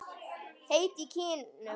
Heit í kinnum.